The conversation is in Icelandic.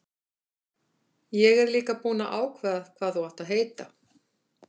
Ég er líka búinn að ákveða hvað þú átt að heita.